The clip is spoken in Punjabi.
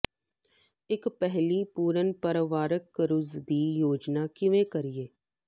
ਇੱਕ ਪਿਹਲੀ ਪੂਰਨ ਪਰਿਵਾਰਕ ਕਰੂਜ਼ ਦੀ ਯੋਜਨਾ ਕਿਵੇਂ ਕਰੀਏ